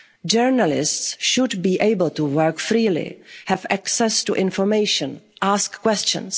threat. Journalists should be able to work freely, have access to information, ask